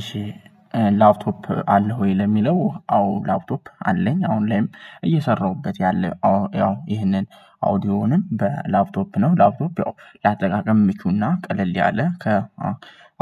እሺ ላፕቶፕ አለ ወይ? ለሚለው አዎ ላፕቶፕ አለኝ። አሁን ላይም እየሰራሁበት ያለው አዎ ያው ይሄንን አውዲዮንም በላፕቶፕ ነው ላፕቶፕ ያው ለአጠቃቀም ምቹና ቀለል ያለ ከ።